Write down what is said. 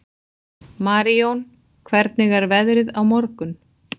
Marijón, hvernig er veðrið á morgun?